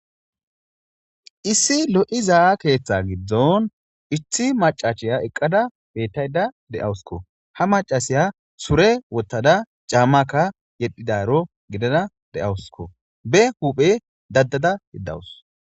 issi lo7i za7a keeththa giddon ithi macachiya eqqada bettayda de7awuskko ha macasiya sure wottada caammakka yedhidaro gidada de7awuskko be huphe daddada yeddawus